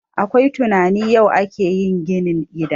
Akwai tunanin yau ake yin ginin gidan